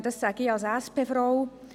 Dies sage ich als SP-Frau.